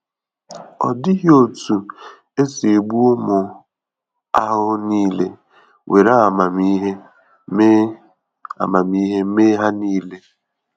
Ọ dịghị otu esi egbu umu ahụhụ nile; were amamihe mee amamihe mee ha nile.